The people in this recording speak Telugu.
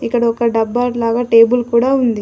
ఇక్కడ ఒక డబ్బాడ్ లాగా టేబుల్ కూడా ఉంది.